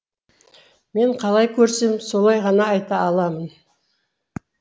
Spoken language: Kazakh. мен қалай көрсем солай ғана айта аламын